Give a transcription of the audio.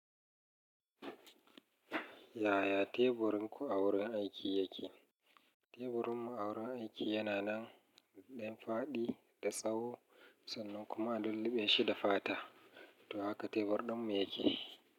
Yaya teburin ku a wurin aiki yake? Teburin mu a wurin aiki yana nan ɗan fadi da tsawo sannan kuma a lulluɓe shida fata. To haka tebur ɗin mu yake.